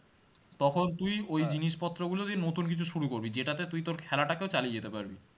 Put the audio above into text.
তখন তুই জিনিসপত্র গুলো দিয়ে নতুন কিছু শুরু করবি জেতাতে তুই তোর খেলাটা কেও চালিয়ে যেতে পারবি,